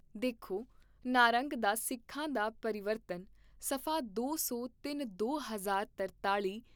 ਦੇਖੋ ਨਾਰੰਗ ਦਾ ਸਿੱਖਾਂ ਦਾ ਪ੍ਰੀਵਰਤਨ ' ਸਫਾ ਦੋ ਸੌ ਤਿੰਨ ਦੋ ਹਜ਼ਾਰ ਤਰਤਾਲ਼ੀ